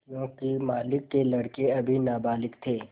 योंकि मालिक के लड़के अभी नाबालिग थे